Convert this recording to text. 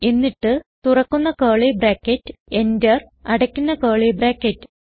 എന്നിട്ട് തുറക്കുന്ന curly bracket Enter അടയ്ക്കുന്ന കർലി ബ്രാക്കറ്റ്